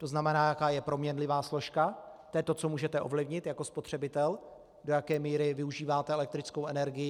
To znamená, jaká je proměnlivá složka, to je to, co můžete ovlivnit jako spotřebitel, do jaké míry využíváte elektrickou energii.